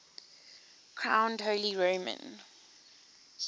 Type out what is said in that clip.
crowned holy roman